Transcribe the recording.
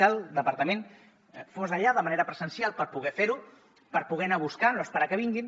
que el departament fos allà de manera presencial per poder fer ho per poder anar les a buscar no esperar que vinguin